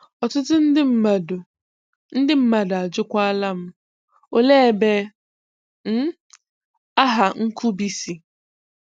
Ọtụtụ ndị mmadụ ndị mmadụ ajụkwaala m 'ole ebe um aha 'Nkubi' si?'